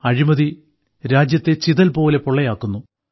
അഴിമതി രാജ്യത്തെ ചിതൽപോലെ പൊള്ളയാക്കുന്നു